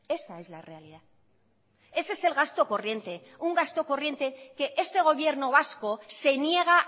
esa es la realidad ese es el gasto corriente un gasto corriente que este gobierno vasco se niega